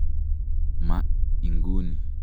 Ma inguni.